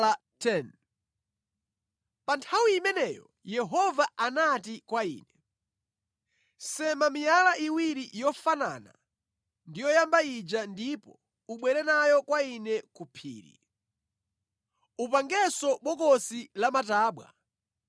Pa nthawi imeneyo Yehova anati kwa ine, “Sema miyala iwiri yofanana ndi yoyamba ija ndipo ubwere nayo kwa Ine ku phiri. Upangenso bokosi lamatabwa.